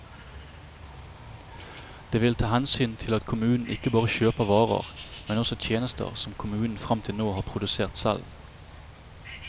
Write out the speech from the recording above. Det vil ta hensyn til at kommunen ikke bare kjøper varer, men også tjenester som kommunen frem til nå har produsert selv.